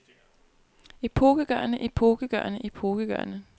epokegørende epokegørende epokegørende